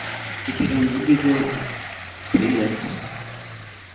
теперь он выглядел прелестно